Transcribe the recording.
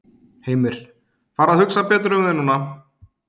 Heimir: Fara að hugsa betur um þig núna?